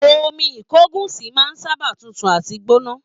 Omi ìkogusi máa sábà tútù àti gbóná